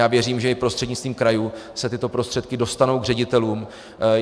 Já věřím, že i prostřednictvím krajů se tyto prostředky dostanou k ředitelům.